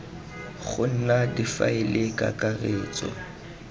go nna difaele tsa kakaretso